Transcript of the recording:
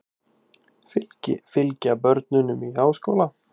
Fylgja börnunum í háskóla